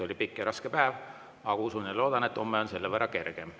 Oli pikk ja raske päev, aga usun ja loodan, et homme on selle võrra kergem.